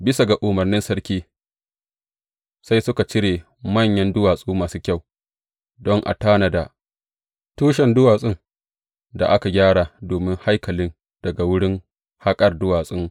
Bisa ga umarnin sarki sai suka cire manyan duwatsu masu kyau don a tanada tushen duwatsun da aka gyara domin haikalin daga wurin haƙar duwatsun.